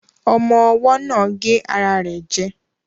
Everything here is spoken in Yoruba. Ọmọ́ ọwọ́ náà gé ara rẹ̀ jẹ